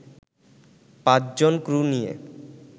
৫ জন ক্রু নিয়ে